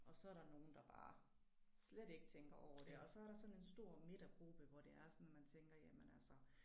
Og så der nogen der bare slet ikke tænker over det og så der sådan en stor midtergruppe hvor det er sådan at man tænker jamen altså